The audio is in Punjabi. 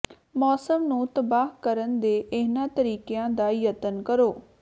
ਮੌਸਮ ਨੂੰ ਤਬਾਹ ਕਰਨ ਦੇ ਇਹਨਾਂ ਤਰੀਕਿਆਂ ਦਾ ਯਤਨ ਕਰੋ